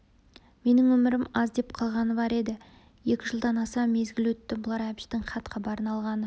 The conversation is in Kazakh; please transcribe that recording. менің өмірім аз деп қалғаны бар еді екі жылдан аса мезгіл өтті бұлар әбіштің хат-хабарын алғаны